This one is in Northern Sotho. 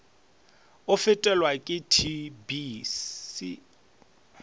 o fetelwa ke tb se